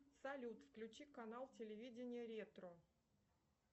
салют включи канал телевидения ретро